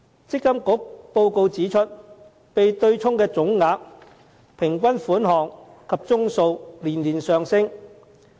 積金局報告指出，被對沖的總額、平均款項及宗數連年上升。